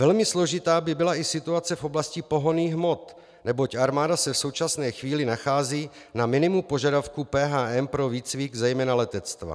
Velmi složitá by byla i situace v oblasti pohonných hmot, neboť armáda se v současné chvíli nachází na minimu požadavků PHM pro výcvik zejména letectva.